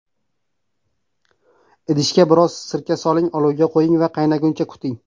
Idishga biroz sirka soling, olovga qo‘ying va qaynaguncha kuting.